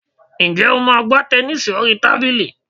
Ǹjẹ́ o máa ń gbá tẹnísì orí tábìlì?